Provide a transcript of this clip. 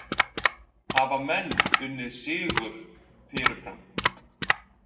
Hafa menn unnið sigur fyrirfram?